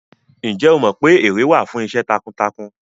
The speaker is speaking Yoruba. Ǹjẹ́ o mọ pé ère wà fún iṣẹ́ takuntakun?